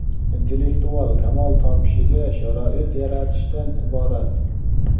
intellektual kamol topishiga sharoit yaratishdan iborat.